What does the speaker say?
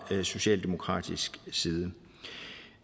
socialdemokratiets side